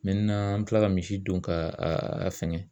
Mɛtenan an be tila ka misi don ka a a fɛngɛ